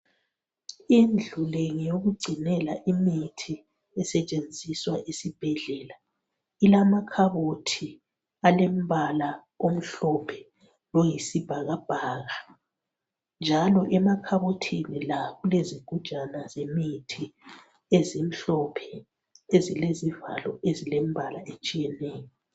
Indlu le ngeyokugcinela imithi esetshenziswa esibhedlela. Ilamakhabothi alombala omhlophe loyisibhakabhaka njalo emakhabothini la kulezigujana zemithi ezimhlophe ezilezivalo ezilembala etshiyeneyo.